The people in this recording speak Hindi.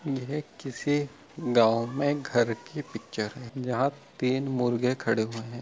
यह किसी गाँव में घर की पिक्चर है तीन मुर्गे खड़े हुए है ।